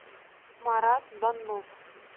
марат баннов